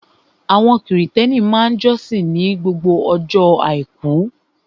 Àwọn Krìstẹ́nì máa jọ́sìn ní ọjọ́ àbámẹ́ta